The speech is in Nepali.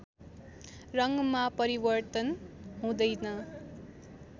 रङ्गमा परिवर्तन हुँदैन